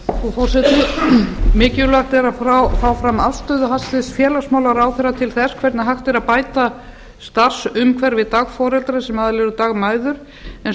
frú forseti mikilvægt er að fá fram afstöðu hæstvirts félagsmálaráðherra til þess hvernig hægt er að bæta starfsumhverfi dagforeldra sem aðallega eru dagmæður en